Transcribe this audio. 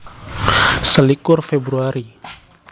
Selikur Februari